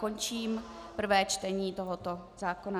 Končím prvé čtení tohoto zákona.